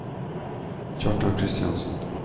Kjartan Christiansen